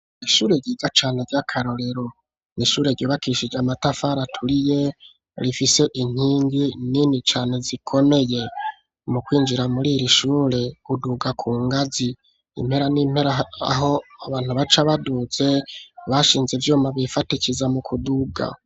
Ishure ryiza cane rya karorero n'ishure ryubakishije amatafari aturiye rifise inkingi nini cane zikomeye mu kwinjira muriri shure uduga ku ngazi impera n'impera aho abantu bace baduze bashinze ivyuma bifatikiza mu kuduga